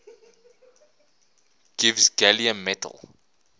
gives gallium metal